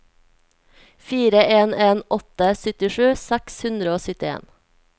fire en en åtte syttisju seks hundre og syttien